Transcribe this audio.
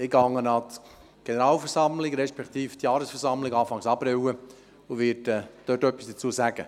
Anfang April werde ich an der Jahresversammlung teilnehmen und etwas dazu sagen.